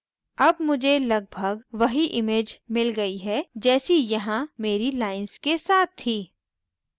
अब मुझे लगभाग वही image मिल गयी है जैसी यहाँ मेरी lines के साथ थी